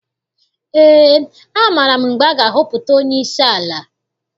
Ee, amaara m mgbe a ga-ahọpụta onyeisi ala.